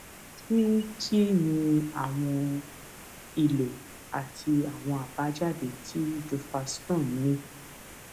kí kí ni àwọn ìlo àti àwọn àbájáde tí duphaston ní